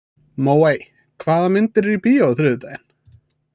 Móey, hvaða myndir eru í bíó á þriðjudaginn?